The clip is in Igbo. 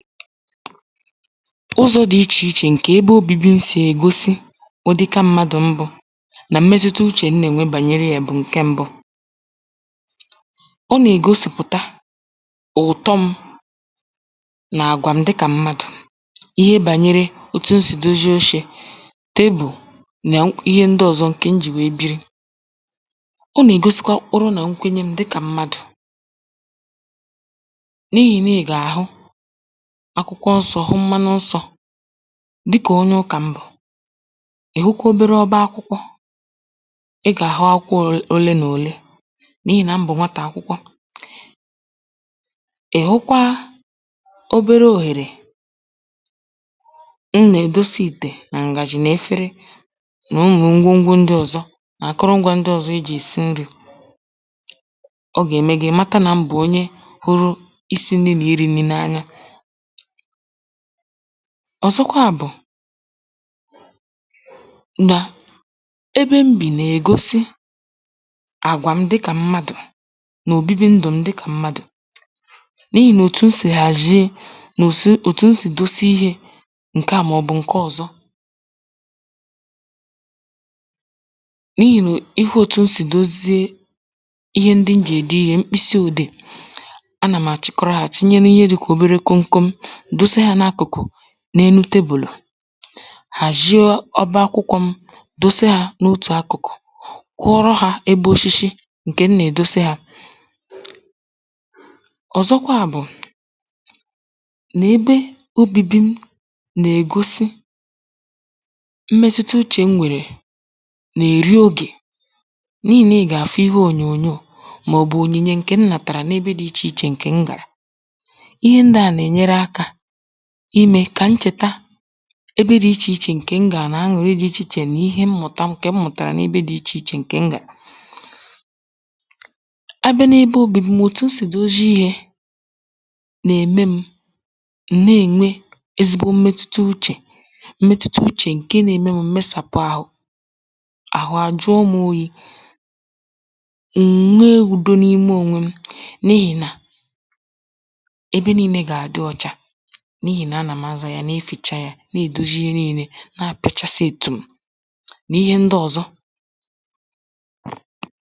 ụzọ̄ dị ichè ichè ǹkè ebe ōbībī m̀ sì ègosi ụ̀dịka m̄mādụ̀ m bụ̄ nà mmetuta uchè m nà-ènwe gbànyere yā bụ̀ ǹke m̄bụ̄ ọ nà-ègosìpụ̀ta ụ̀tọ m̄ nà àgwà m dịkà mmadụ̀ n’ihe gbànyere òtù m sì dozie ochē table nà ihe ndị ọ̄zọ̄ ǹkè m jì nwèe biri ọ nà-ègosikwa mkpụrụ nà nkwenye m̄ dịkà mmadụ̀ n’ihì nà ị gà-àhụ akwụkwọ nsọ̄ hụ mmanụ nsọ̄ dịkà onye ụkà m bụ̀ ị̀ hụkwa obere ọba akwụkwọ ị gà-àhụ akwụkwọ òle mà òle n’ihì nà m bụ̀ nwatà akwụkwọ ị̀ hụkwa obere òhèrè m nà-èdosa ìtè nà ǹgàjị̀ nà efere nà ụmụ̀ ngwo ngwo ndị ọ̀zọ nà akwụrụngwā ndị ọ̀zọ ejì èsi nnī ọ gà-ème gị̄ ị̀ mata nà m bụ̀ onye hụ̄rụ̄ isī n̄nī nà irī n̄nī n’anya ọ̀zọkwa bụ̀ nà ebe m bì nà-ègosi àgwà m dịkà mmadụ̀ nà òbibi ndụ̀ m dịkà mmadụ̀ n’ihì nà òtù m sì hàzhie nà òtù òtù m sì dosa ihē ǹke à màọ̀bụ̀ ǹke ọ̀zọ n’ihì nà ị hụ òtù m sì dozie ihe ndị m jì ède ihē mkpịsị òdeè anà m̀ àchịkọrọ hā chinye n’ihe dị̄kà obere komkom dosa hā n’akụ̀kụ̀ n’enu tebùlù hàzhie ọba akwụkwọ̄ m̄ dosa hā n’otù akụ̀kụ̀ kụọrọ hā ebe oshishi ǹkè m nà-èdosa hā ọ̀zọkwa bụ̀ nà ebe ōbībī m̄ nà-ègosi mmetuta uchè m nwèrè nà-èri ogè n’ihì nà ị gà-àfụ ihe ònyònyoò màọ̀bụ̀ ònyìnye ǹkè m nàtàrà n’ebe dị̄ ichè ichè ǹkè m gàrà ihe ndị à nà-ènyere akā imē kà m chèta ebe dị̄ ichè ichè ǹkè m gàrà nà añụ̀rị dị̄ ichè ichè nà ihe mmụ̀ta ǹkè m mụ̀tàrà n’ebe dị̄ ichè ichè ǹkè m gàrà abịa n’ebe ōbībī m̄ òtù m sì dozi ihē nà-ème m̄ m̀ na-ènwe ezigbo mmetuta uchè mmetuta uchè ǹke nā-ēmē m̀ m̀ mesàpụ āhụ̄ àhụ àjụọ m̄ oyī m̀ nwe ùdo n’ime ònwe m̄ n’ihì nà ebe niīnē gà-adị ọ̄chā n’ihì nà anà m̀ azā yā na-efìcha yā nà-èdozi ihe niīnē na-apị̀chasị yā tùm nà ihe ndị ọ̀zọ